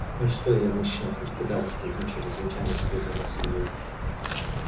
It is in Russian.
ну и что я ещё мужчина хоть куда воскликнул чрезвычайно задетый этими словами джералд